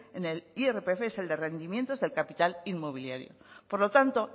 en el irpf es el de rendimientos del capital inmobiliario por lo tanto